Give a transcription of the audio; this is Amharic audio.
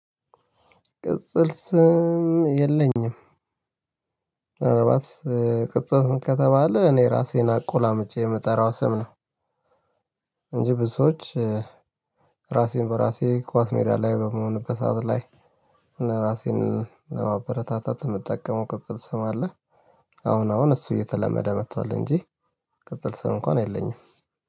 ቅጽል ስም የለኝም ምናልባት ቅጽል ስም ከተባለ እኔ እራሰን አቆላምጨ ምጠራው ስም ነው። እንጂ ብዙ ሰዎች እራሴ በራሴ ኳስ ሜዳ ላይ በምሆንበት ሰዓት ላይ። ራሴን ለማበረታታት መጠቀመው ቅጽል ስም አለ። አሁን አሁን እሱ እየተለመደ መጥቷል እንጂ። ቅጽል ስም እንኳን የለኝም።